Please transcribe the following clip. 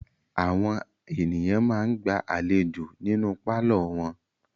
Àwọn ènìyàn máa ń gba àlejò nínú pálọ̀ wọn.